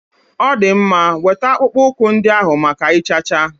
Ọ dị mma, weta akpụkpọ ụkwụ ndị ahụ maka ịchacha.